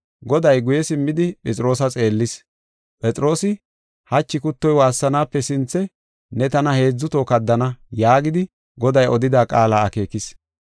Goday guye simmidi Phexroosa xeellis. Phexroosi, “Hachi kuttoy waassanaape sinthe ne tana heedzu toho kaddana” yaagidi, Goday odida qaala akeekis.